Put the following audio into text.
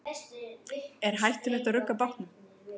Er hættulegt að rugga bátnum?